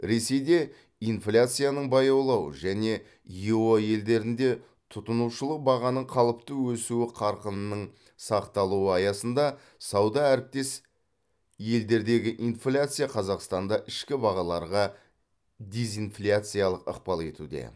ресейде инфляцияның баяулауы және ео елдерінде тұтынушылық бағаның қалыпты өсуі қарқынының сақталуы аясында сауда әріптес елдердегі инфляция қазақстанда ішкі бағаларға дезинфляциялық ықпал етуде